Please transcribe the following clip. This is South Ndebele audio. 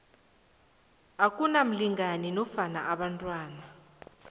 akunamlingani nofana abantwana